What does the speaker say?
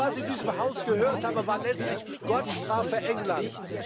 Alles, was ich in diesem Haus gehört habe, war letztlich Gott strafe England!